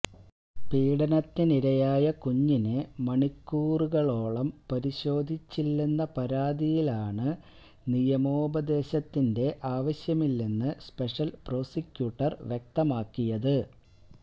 പീഡനത്തിനിരയായ കുഞ്ഞിനെ മണിക്കൂറുകളോളം പരിശോധിച്ചില്ലെന്ന പരാതിയിലാണ് നിയമോപദേശത്തിന്റെ ആവശ്യമില്ലെന്ന് സ്പെഷ്യല് പ്രോസിക്യൂട്ടര് വ്യക്തമാക്കിയത്